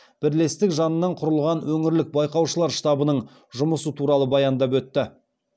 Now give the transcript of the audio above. бірлестік жанынан құрылған өңірлік байқаушылар штабының жұмысы туралы баяндап өтті